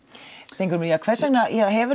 Steingrímur hvers vegna hefur